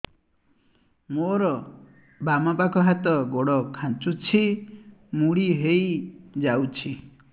ମୋର ବାମ ପାଖ ହାତ ଗୋଡ ଖାଁଚୁଛି ମୁଡି ହେଇ ଯାଉଛି